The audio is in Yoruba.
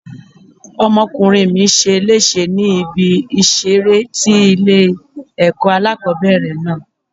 Ọmọkùnrin mi ṣe léṣe ní ibi ìṣeré tí ilé ẹ̀kọ́ alákòbẹ̀rẹ̀ náà.